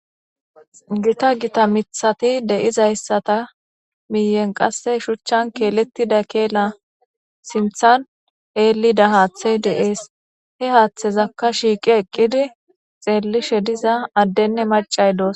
Gita gita mithati de'izayssata miyen qasse shuchchan keelettida keela sinthan eelida haaththey de'ees he haaththezakka shiiqi eqqidi xeellishe diza addenne macay doos.